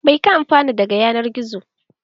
Mai ka amfana daga yanar gizo?